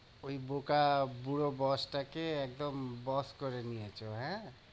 ওই বোকা বুড়ো boss টাকে একদম বস করে নিয়েছো, হ্যাঁ?